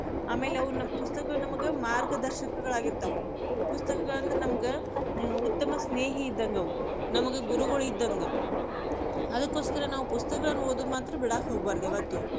ಆಮೇಲೆ ಅವು ಪುಸ್ತಕಗಳು ನಮಗ ಮಾರ್ಗದಶಕಗಳಾಗಿರ್ತಾವ್, ಪುಸ್ತಕಗಳಂದ್ರ ನಮ್ಗ ಉತ್ತಮ ಸ್ನೇಹಿ ಇದ್ದಂಗವ್, ನಮ್ಗ ಗುರುಗಳಿದ್ದಂಗ, ಅದಕ್ಕೋಸ್ಕರ ನಾವು ಪುಸ್ತಕಗಳನ್ನ ಓದುದ ಮಾತ್ರ ಬಿಡಾಕ ಹೋಗ್ಬಾರ್ದ ಯಾವತ್ತು.